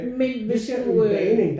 Men hvis du øh